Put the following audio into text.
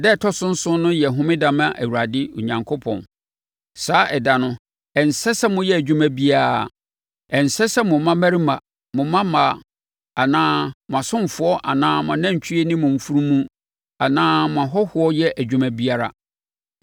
na ɛda a ɛtɔ so nson no yɛ homeda ma Awurade Onyankopɔn. Saa ɛda no, ɛnsɛ sɛ moyɛ adwuma biara; ɛnsɛ sɛ mo mmammarima, mo mmabaa anaa mo asomfoɔ anaa mo anantwie ne mo afunumu anaa mo ahɔhoɔ yɛ adwuma biara.